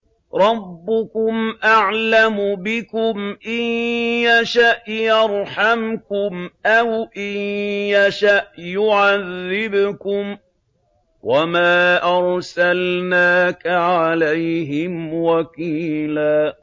رَّبُّكُمْ أَعْلَمُ بِكُمْ ۖ إِن يَشَأْ يَرْحَمْكُمْ أَوْ إِن يَشَأْ يُعَذِّبْكُمْ ۚ وَمَا أَرْسَلْنَاكَ عَلَيْهِمْ وَكِيلًا